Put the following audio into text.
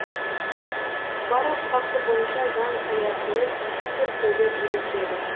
барлық факті бойынша заң аясында тиісті зерттеулер жүргізіледі